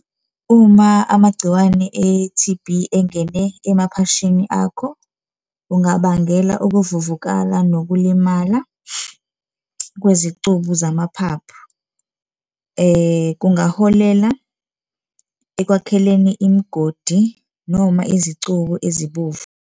Uma amagciwane e-T_B engene emaphashini akho kungabangela ukuvuvukala nokulimala kwezicubu zamaphaphu, kungaholela ekwakheleni imigodi noma izicubu ezibovu.